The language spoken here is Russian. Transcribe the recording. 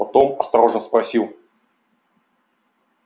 потом осторожно спросил